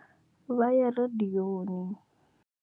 Vha ya radiyoni.